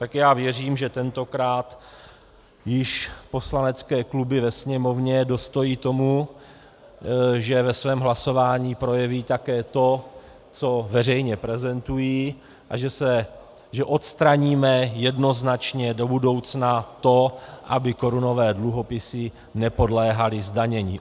Tak já věřím, že tentokrát již poslanecké kluby ve Sněmovně dostojí tomu, že ve svém hlasování projeví také to, co veřejně prezentují a že odstraníme jednoznačně do budoucna to, aby korunové dluhopisy nepodléhaly zdanění.